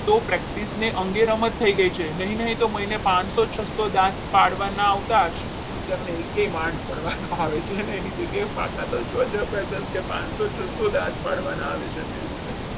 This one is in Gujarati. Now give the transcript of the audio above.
તો practice ની અંગે રમત થઈ ગઈ છે નહીં નહીં છ મહિને પાંચસો છસ્સો દાંત પાડવાના આવતા હશે વિચારી લો એ કયો માલ પડવા નહીં આવતો એની જગ્યાએ તાકાતો જબરજસ્ત કે પાંચસો છસ્સો દાંત પાડવામાં આવે છે એમની રીતે